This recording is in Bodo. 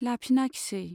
लाफिनाखिसै।